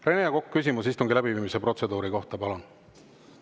Rene Kokk, küsimus istungi läbiviimise protseduuri kohta, palun!